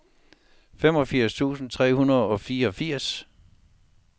femogfirs tusind tre hundrede og femogfirs